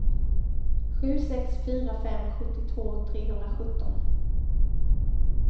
sju sex fyra fem sjuttiotvå trehundrasjutton